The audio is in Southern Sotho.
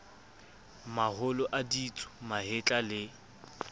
maholo a ditsu mahetla le